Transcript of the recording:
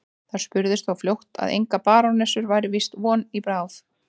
Það spurðist þó fljótt að engrar barónessu væri víst von í bráð.